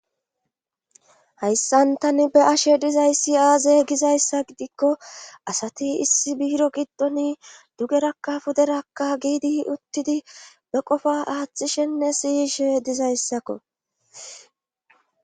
Hayssan tani be ashe dizayssi aaze gizayssa gidikko asati issi biiro giddoni dugerakka puderakka giidi uttidi be qofa aaththishenne siyishe dizayssakko.